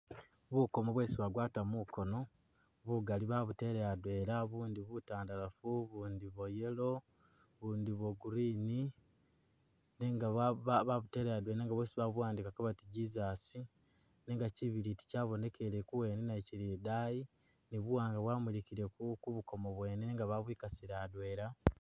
Bukoomo bwesi bagatwa mukoono bugaali babutele adwela bundi butandalafu, bundi bwa Yellow, bundi bwa Green, nenga ba babutele adwela nenga bwosi babuwandikako bati Jesus nenga kibiliti kyabonekile kuwene nakyo kili idaayi ni buwaanga bwamulikile ku ku bukoomo bwene nenga bwabwikasile adwela.